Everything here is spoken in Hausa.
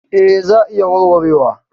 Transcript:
Eh za a iya warwarewa.